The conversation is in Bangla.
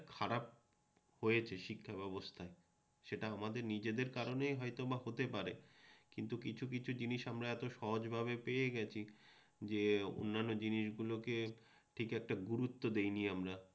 হয়েছে শিক্ষাব্যবস্থা সেটা আমাদের নিজেদের কারণেই হয়তোবা হতে পারে কিন্তু কিছু কিছু জিনিস আমরা এত সহজভাবে পেয়ে গেছি যে অন্যান্য জিনিসগুলোকে ঠিক একটা গুরুত্ব দেইনি আমরা